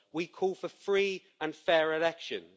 We call for free and fair elections.